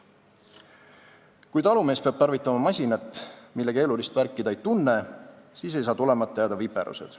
Kui talumees peab tarvitama masinat, mille keerulist värki ta ei tunne, siis ei saa tulemata jääda viperused.